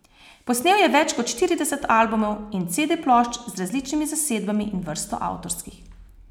Posnel je več kot štirideset albumov in cede plošč z različnimi zasedbami in vrsto avtorskih.